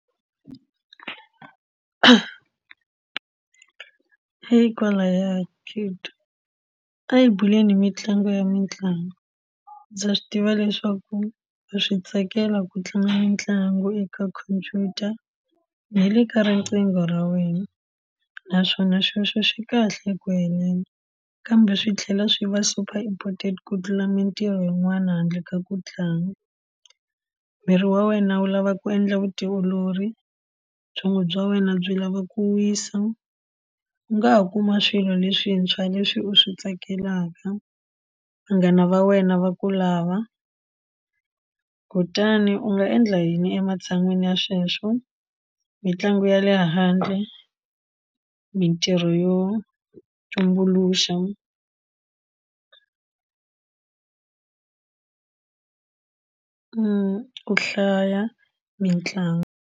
kwalaya a hi bebuleni mitlangu ya mitlangu ndza swi tiva leswaku ma swi tsakela ku tlanga mitlangu eka khompyuta na le ka riqingho ra wena naswona sweswo swi kahle eku heleni kambe swi tlhela swi va super important ku tiva mintirho yin'wana handle ka ku tlanga miri wa wena wu lava ku endla vutiolori byongo bya wena byi lava ku wisa u nga ha kuma swilo leswintshwa leswi u swi tsakelaka vanghana va wena va ku lava kutani u nga endla yini ematshan'weni ya sweswo mitlangu ya le handle mintirho yo tumbuluxa ku hlaya mitlangu.